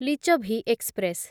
Lichchhavi express